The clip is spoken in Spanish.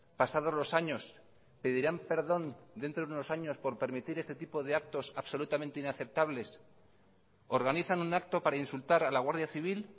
pasados los años pedirán perdón dentro de unos años por permitir este tipo de actos absolutamente inaceptables organizan un acto para insultar a la guardia civil